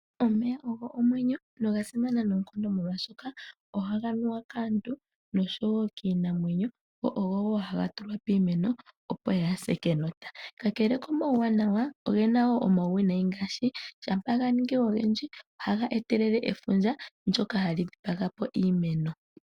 Omeya ogo omwenyo nogasimana noonkondo molwaashoka ohaga nuwa kaantu noshowoo kiinamwenyo. Ogo wo haga tulwa piimeno opo yaase kenota. Kakele komauwanawa, ogena wo omauwinayi ngaashi ngele ganingi ogendji ohaga etelele efundja ndyoka hali dhipaga iimeno.